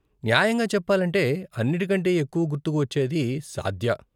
న్యాయంగా చెప్పాలంటే, అన్నిటి కంటే ఎక్కువ గుర్తుకు వచ్చేది సాద్య.